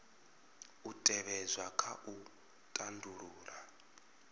u tevhedzwa kha u tandulula